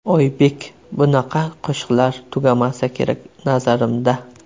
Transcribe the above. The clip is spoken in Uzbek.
Oybek: Bunaqa qo‘shiqlar tugamasa kerak nazarimda.